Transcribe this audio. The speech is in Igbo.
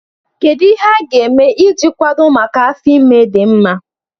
Kedu ihe a ga-eme iji kwado maka afọ ime dị mma?